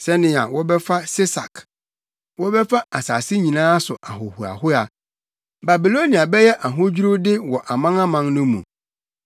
“Sɛnea wɔbɛfa Sesak, wɔbɛfa asase nyinaa so ahohoahoa! Babilonia bɛyɛ ahodwiriwde wɔ amanaman no mu!